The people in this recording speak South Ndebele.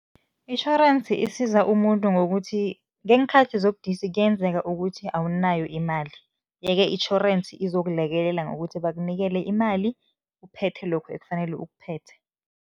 Itjhorensi isiza umuntu ngokuthi, ngeenkhathi zobudisi kuyenzeka ukuthi awunayo imali, yeke itjhorensi izokulekelela ngokuthi bakunikele imali, uphethe lokhu ekufanele ukuphethe.